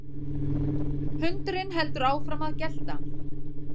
Hundurinn heldur áfram að gelta.